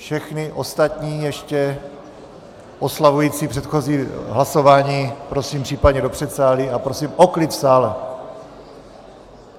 Všechny ostatní, ještě oslavující předchozí hlasování, prosím případně do předsálí a prosím o klid v sále!